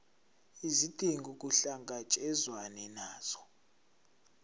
izidingo kuhlangatshezwane nazo